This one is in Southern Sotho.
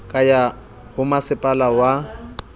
ka ya ho masepala wa